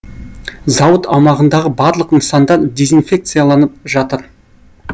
зауыт аумағындағы барлық нысандар дезинфекцияланып жатыр